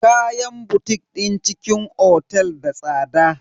Kayan botik din cikin otel da tsada.